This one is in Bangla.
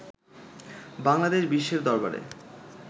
বাংলাদেশ বিশ্বের দরবারে